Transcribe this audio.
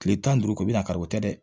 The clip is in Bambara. Kile tan ni duuru ko bi na kari o tɛ dɛ